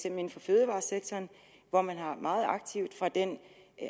inden for fødevaresektoren hvor man meget aktivt fra den